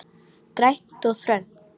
Grænt og þröngt.